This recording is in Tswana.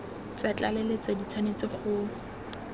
tsa tlaleletso di tshwanetse go